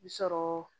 I bi sɔrɔ